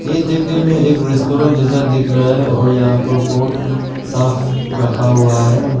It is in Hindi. में एक रेस्टोरेंट जैसा दिख रहा है और यहां पर बहुत साफ रखा हुआ है।